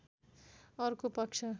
अर्को पक्ष